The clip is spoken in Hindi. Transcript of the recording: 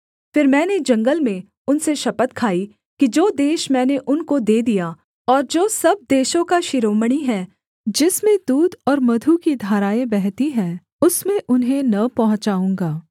फिर मैंने जंगल में उनसे शपथ खाई कि जो देश मैंने उनको दे दिया और जो सब देशों का शिरोमणि है जिसमें दूध और मधु की धराएँ बहती हैं उसमें उन्हें न पहुँचाऊँगा